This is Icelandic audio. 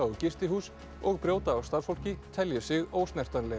gistihús og brjóta á starfsfólki telji sig